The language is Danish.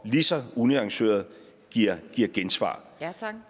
lige så unuanceret giver giver gensvar